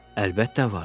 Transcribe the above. Əlbəttə vardı.